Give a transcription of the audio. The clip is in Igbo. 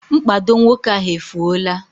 Mkpado nwoke ahụ efuola